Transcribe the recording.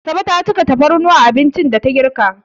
Asabe ta cika tafarnuwa a abincin da ta girka.